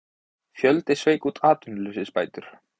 Fjöldi sveik út atvinnuleysisbætur